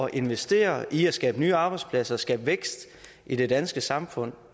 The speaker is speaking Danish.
at investere i at skabe nye arbejdspladser skabe vækst i det danske samfund